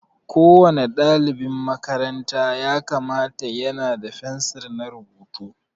Ko wani ɗalibin makaranta ya kamata ya na da fensir na rubutu.